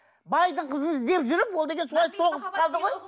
байдың қызын іздеп жүріп ол деген солай соғысып қалды ғой